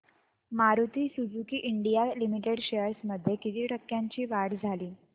Maruti Suzuki India limited shares मध्ये किती टक्क्यांची वाढ झाली